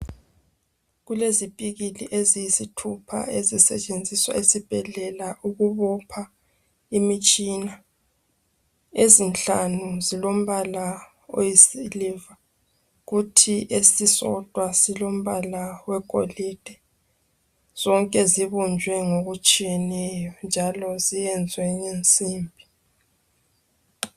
Kulezipikili eziyisithupha ezisetshenziswa esibhedlela ukubopha imitshina. Ezinhlanu zilombala oyisiliva kuthi esisodwa silombala wegolide. Zonke zibunjwe ngokutshiyeneyo njalo ziyenzwe ngensimbi.